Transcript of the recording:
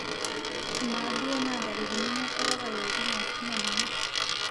ama duo naa ntarikini imiet olapa li okuni ashu me ninye